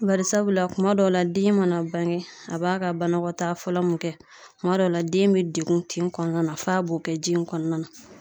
Bari sabula kuma dɔw la den mana bange a b'a ka banakɔta fɔlɔ mun kɛ kuma dɔw la den be degun tin kɔnɔna na f'a b'o kɛ ji in kɔnɔna na